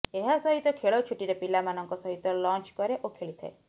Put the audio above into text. ଏହା ସହିତ ଖେଳଛୁଟିରେ ପିଲାମାନଙ୍କ ସହିତ ଲଞ୍ଚ କରେ ଓ ଖେଳିଥାଏ